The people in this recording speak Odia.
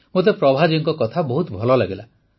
ମୋତେ ପ୍ରଭାଜୀଙ୍କ କଥା ବହୁତ ଭଲ ଲାଗିଲା